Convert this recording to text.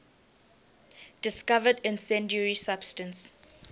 discovered incendiary substance